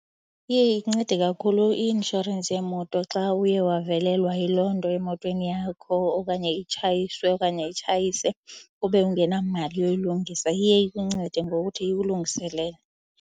Iye incede kakhulu i-inshorensi yemoto xa uye wavelelwa yiloo nto emotweni yakho okanye itshayiswe okanye utshayise ube ungenamali yokuyilungisa. Iye ikuncede ngokuthi ikulungiselele.